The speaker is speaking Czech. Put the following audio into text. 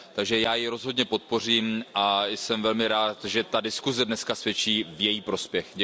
Takže já ji rozhodně podpořím a jsem velmi rád, že ta diskuse dnes svědčí v její prospěch.